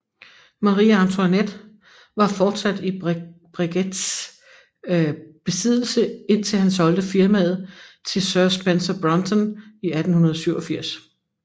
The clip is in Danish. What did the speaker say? Marie Antoinette var fortsat i Breguets besiddelse indtil han solgte firmaet til Sir Spencer Brunton i 1887